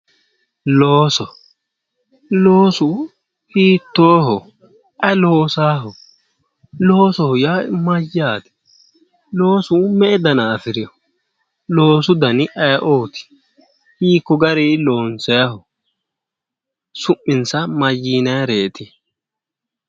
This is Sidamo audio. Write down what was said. Looso, loosu hiittooho? Ayi loosaaho? Loosoho yaa mayyate? Loosu me"e dana afirino? Loosu dani ayiooti? Hiikko garii loonsayiho? su'minsa mayyiinayereete?